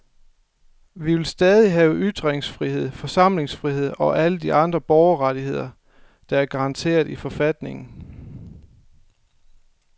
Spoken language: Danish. Vi vil stadig have ytringsfrihed, forsamlingsfrihed og alle de andre borgerrettigheder, der er garanteret i forfatningen.